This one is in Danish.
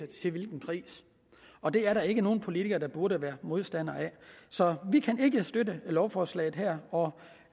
til hvilken pris og det er der ikke nogen politiker der burde være modstander af så vi kan ikke støtte lovforslaget her og